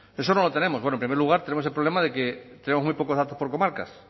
eso no lo tenemos en primer lugar tenemos el problema de que tengo muy pocos datos por comarcas